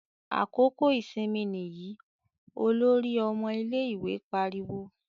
"Àkókò ìsinmi nìyí!" Olórí ọmọ ilé-ìwé pariwo.